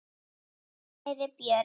Kæri Björn.